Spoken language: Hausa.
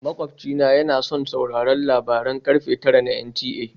Makwabci na yana son sauraron labaran karfe tara a NTA